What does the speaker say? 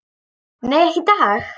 Nei, ekki í dag.